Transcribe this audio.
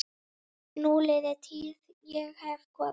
Núliðin tíð- ég hef komið